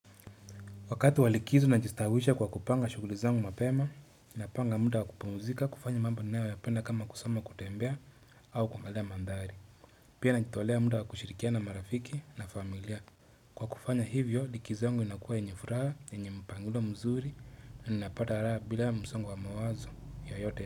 Wakati wa likizo na najistawisha kwa kupanga shughuli zangu mapema, napanga muda wakupumzika kufanya mamba ninayo yapenda kama kusoma, kutembea au kuangalia maandhari. Pia najitolea muda wakushirikiana na marafiki na familia. Kwa kufanya hivyo, likizo yangu inakua yenye furaha, yenye mpangilio mzuri, na ninapata raha bila ya msongo wa mawazo yote.